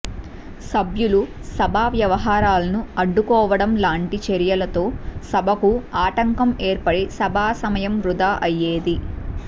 సభ్యులు సభా వ్యవహారాలను అడ్డుకోవడం లాంటి చర్యలతో సభకు ఆటంకం ఏర్పడి సభాసమయం వృధా అయ్యేది